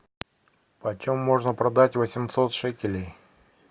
почем можно продать восемьсот шекелей